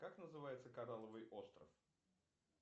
как называется коралловый остров